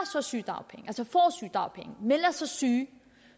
så sygedagpenge melder sig syge